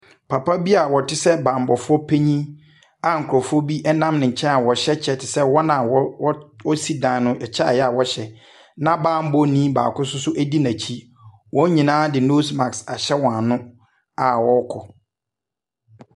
Papa bi a ɔtisɛɛ bambɔfo penyin a nkrɔfo bi ɛnam nenkyɛn a wɔhyɛ kyɛ ti sɛɛ wɔn a wosi dan no ɛkyɛ a ɛyɛ a wɔhyɛ na bambɔnii baako nsoso di nekyi. Wɔnyinaa de nosmask ahyɛ wɔn anu a wɔɔkɔ.